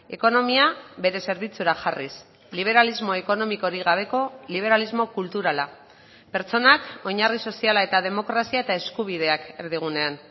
ekonomia bere zerbitzura jarriz liberalismo ekonomikorik gabeko liberalismo kulturala pertsonak oinarri soziala eta demokrazia eta eskubideak erdigunean